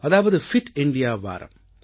அதாவது fit India வாரம்